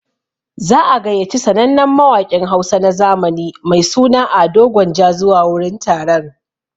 Za'a gayyaci sannannen mawaƙin Hausa na zamani mai suna Ado gwanja zuwa wurin taron.